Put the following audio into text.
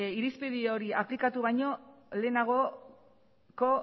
irizpide hori aplikatu baino lehenagoko